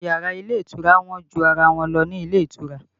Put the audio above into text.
Àwọn yàrá ilé ìtura wọ́n ju ara wọn lọ ní ilé ìtura